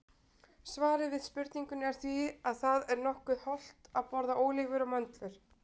Svarið við spurningunni er því að það er nokkuð hollt að borða ólívur og möndlur.